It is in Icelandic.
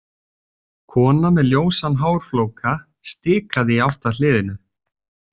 Kona með ljósan hárflóka stikaði í átt að hliðinu.